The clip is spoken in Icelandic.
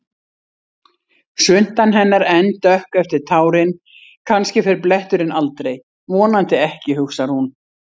Svuntan hennar enn dökk eftir tárin, kannski fer bletturinn aldrei, vonandi ekki, hugsar hún.